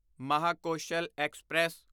Mahakoshal express